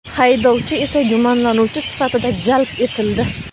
haydovchi esa gumonlanuvchi sifatida jalb etildi.